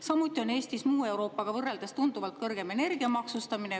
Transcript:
Samuti on Eestis muu Euroopaga võrreldes tunduvalt kõrgem energia maksustamine.